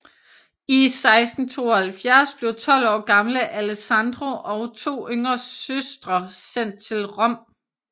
I 1672 blev tolv år gamle Alessandro og to yngre søstre sendt til Rom